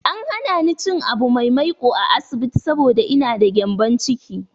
An hana ni cin abu mai maiƙo a asibiti saboda ina da gyambon ciki.